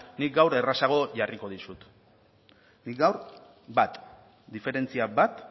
nik gaur errazago jarriko dizut nik gaur bat diferentzia bat